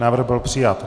Návrh byl přijat.